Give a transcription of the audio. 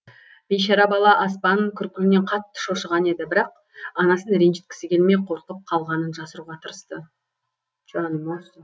бейшара бала аспан күркілінен қатты шошыған еді бірақ анасын ренжіткісі келмей қорқып қалғанын жасыруға тырысты жаным ау сол